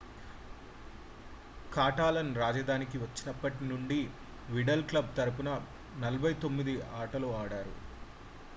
కాటలాన్-రాజధానికి వచ్చినప్పటి నుండి Vidal club తరఫున 49 ఆటలు ఆడాడు